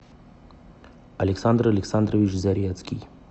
александр александрович зарецкий